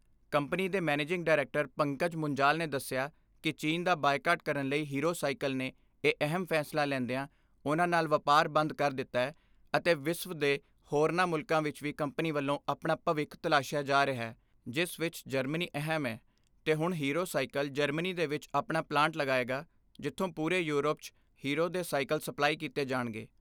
Company ਦੇ managing director Pankaj Munjal ਨੇ ਦਸਿਆ ਕਿ ਚੀਨ ਦਾ ਬਾਈਕਾਟ ਕਰਨ ਲਈ ਹੀਰੋ ਸਾਈਕਲ ਨੇ ਇਹ ਅਹਿਮ ਫੈਸਲਾ ਲੈਂਦਿਆਂ ਉਨ੍ਹਾਂ ਨਾਲ ਵਪਾਰ ਬੰਦ ਕਰ ਦਿੱਤੈ ਅਤੇ ਵਿਸਵ ਦੇ ਹੋਰਨਾਂ ਮੁਲਕਾਂ ਵਿਚ ਵੀ ਕੰਪਨੀ ਵੱਲੋਂ ਆਪਣਾ ਭਵਿੱਖ ਤਲਾਸ਼ਿਆ ਜਾ ਰਿਹੈ ਜਿਸ ਵਿਚ ਜਰਮਨੀ ਅਹਿਮ ਐ ਤੇ ਹੁਣ ਹੀਰੋ ਸਾਈਕਲ ਜਰਮਨੀ ਦੇ ਵਿਚ ਆਪਣਾ ਪਲਾਂਟ ਲਗਾਏਗਾ ਜਿੱਥੋਂ ਪੂਰੇ ਯੂਰਪ 'ਚ ਹੀਰੋ ਦੇ ਸਾਈਕਲ ਸਪਲਾਈ ਕੀਤੇ ਜਾਣਗੇ।